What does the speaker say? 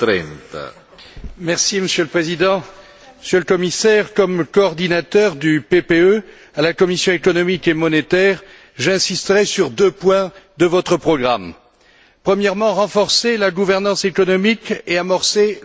Monsieur le Président, Monsieur le Commissaire, comme coordinateur du PPE à la commission économique et monétaire, j'insisterai sur deux points de votre programme. Premièrement, renforcer la gouvernance économique et amorcer le semestre européen.